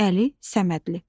Əli Səmədli.